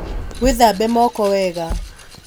wĩthambe moko wega